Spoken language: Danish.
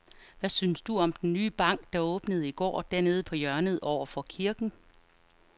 Hvad synes du om den nye bank, der åbnede i går dernede på hjørnet over for kirken?